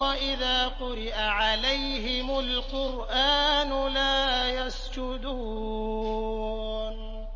وَإِذَا قُرِئَ عَلَيْهِمُ الْقُرْآنُ لَا يَسْجُدُونَ ۩